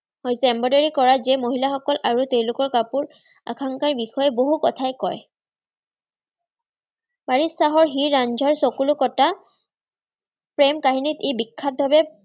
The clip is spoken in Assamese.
হৈছে embroidery কৰা যি মহিলাসকল আৰু তেওঁলোকৰ কাপোৰ একাংশ বিষয়াই বহু কথাই কয় তাৰিক শ্বাহৰ হীৰ-ৰাঞ্জাৰ চকুলো কটা প্ৰেম কাহিনীত ই বিখ্যাত ভাৱে